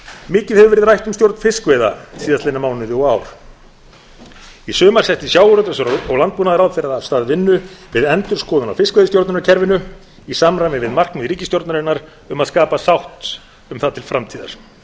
mikið hefur verið rætt um stjórn fiskveiða síðustu mánuðina og árin í sumar setti sjávarútvegs og landbúnaðarráðherra af stað vinnu við endurskoðun á fiskveiðistjórnarkerfinu í samræmi við markmið ríkisstjórnarinnar um að skapa sátt um það til framtíðar